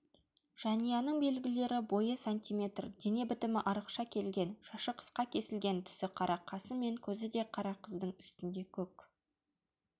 жәнияның белгілері бойы сантиметр дене бітімі арықша келген шашы қысқа кесілген түсі қара қасы мен көзі де қара қыздың үстінде көк